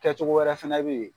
Kɛcogo wɛrɛ fɛnɛ bɛ ye.